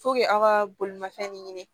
aw ka bolimafɛn de ɲini